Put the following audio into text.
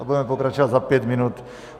A budeme pokračovat za pět minut.